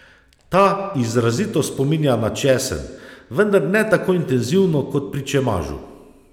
Ta izrazito spominja na česen, vendar ne tako intenzivno kot pri čemažu.